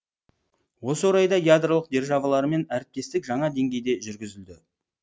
осы орайда ядролық державалармен әріптестік жаңа деңгейде жүргізілді